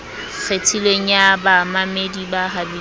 kgethilweng ya bamamedi ba habilweng